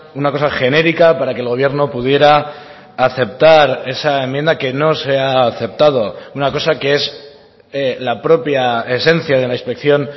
una cosa genérica para que el gobierno pudiera aceptar esa enmienda que no se ha aceptado una cosa que es la propia esencia de la inspección